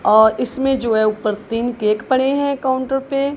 अह इसमें जो हैं ऊपर तीन केक पड़े हैं काउंटर पे।